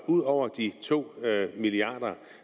ud over de to milliard kr